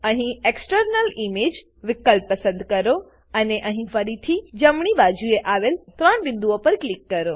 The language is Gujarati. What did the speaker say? અહીં એક્સટર્નલ ઇમેજ એક્સટર્નલ ઈમેજ વિકલ્પ પસંદ કરો અને અહીં ફરીથી જમણી બાજુએ આવેલ 3 બિંદુઓ પર ક્લિક કરો